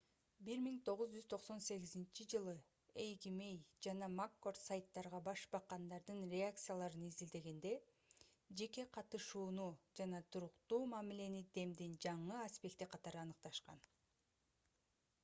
1998-жылы эйгмей жана маккорд сайттарга баш баккандардын реакцияларын изилдегенде жеке катышууну жана туруктуу мамилени демдин жаңы аспекти катары аныкташкан